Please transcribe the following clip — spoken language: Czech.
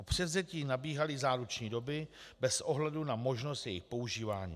Od převzetí nabíhaly záruční doby bez ohledu na možnost jejich používání.